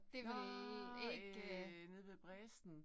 Nåh øh nede ved Bredsten